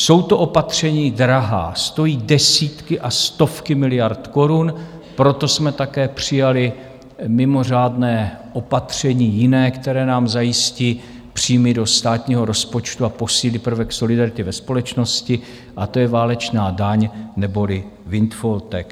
Jsou to opatření drahá, stojí desítky a stovky miliard korun, proto jsme také přijali mimořádné opatření jiné, které nám zajistí příjmy do státního rozpočtu a posílí prvek solidarity ve společnosti, a to je válečná daň neboli windfall tax.